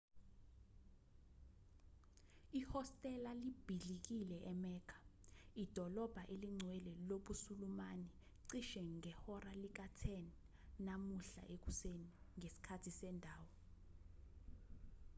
ihostela libhidlikile emecca idolobha elingcwele lobusulumane cishe ngehora lika-10 namuhla ekuseni ngesikhathi sendawo